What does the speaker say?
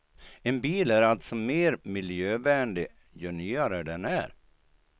En bil är alltså mer miljövänlig ju nyare den är.